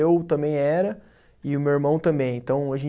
Eu também era e o meu irmão também, então